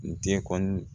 N den kɔni